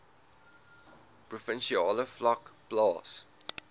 provinsiale vlak plaas